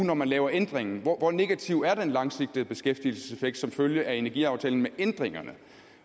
hvor man laver ændringen hvor hvor negativ er den langsigtede beskæftigelseseffekt som følge af energiaftalen med ændringerne